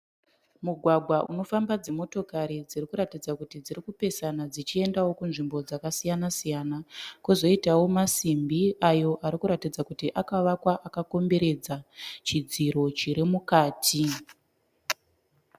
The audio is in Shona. Mugwagwa unofamba dzimotokari dziri kuratidza kuti dzirikupesa dzichiendawo kunzvimbo dzakasiyana kozoitawo masimbi ayo arikuratidza kuti akawakwa akakomberedza chidziro chiri mukati